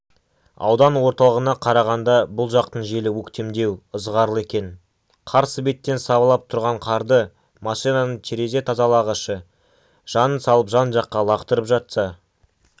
аудан орталығына қарағанда бұл жақтың желі өктемдеу ызғарлы екен қарсы беттен сабалап тұрған қарды машинаның терезе тазалағышы жанын салып жан-жаққа лақтырып жатса